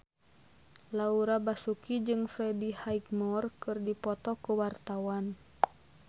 Laura Basuki jeung Freddie Highmore keur dipoto ku wartawan